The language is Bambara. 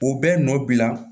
O bɛ nɔ bila